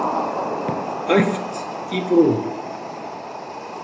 Æft í Brún